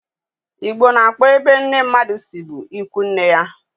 Igbo na-akpo ebe nne mmadụ si bụ ịkwụ nne ya